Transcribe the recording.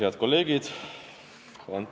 Head kolleegid!